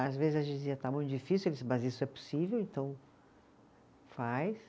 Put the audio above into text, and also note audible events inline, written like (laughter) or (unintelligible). Às vezes a gente dizia, está muito difícil, (unintelligible) mas isso é possível, então faz.